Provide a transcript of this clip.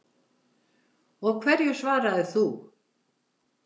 Og hverju svaraðir þú?